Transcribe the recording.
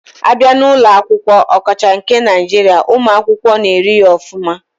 Abia na ulo akwukwo, okacha nke Naijiria, umu akwukwo na eri ya ofuma.